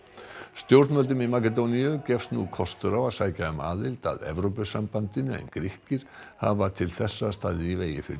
stjórnvöldum í Makedóníu gefst nú kostur á að sækja um aðild að Evrópusambandinu en Grikkir hafa til þessa staðið í vegi fyrir